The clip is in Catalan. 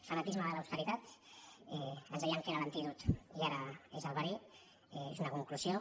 fanatisme de l’austeritat ens deien que era l’antídot i ara és el verí és una conclusió